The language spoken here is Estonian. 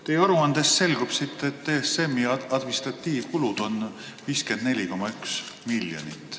Teie aruandest selgub, et ESM-i administratiivkulud on 54,1 miljonit.